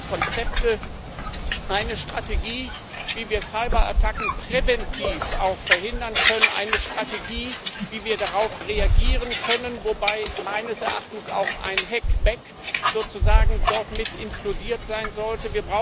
Wir brauchen Konzepte, eine Strategie, wie wir Cyberattacken verhindern können, eine Strategie, wie wir darauf reagieren können, wobei meines Erachtens auch ein hack back mit inkludiert sein sollte.